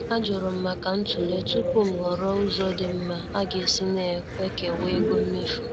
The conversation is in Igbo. Ajurum maka ntule tupu m ghọrọ ụzọ dị mma aga-esi na-ekewasi ego mmefu.